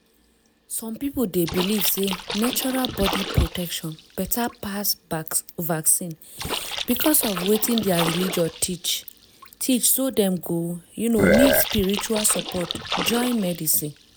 some people dey believe sey natural body protection better pass vaccine because of wetin their religion teach teach so dem go um need spiritual support join medicine.